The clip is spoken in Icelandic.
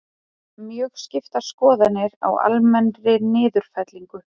Mjög skiptar skoðanir á almennri niðurfellingu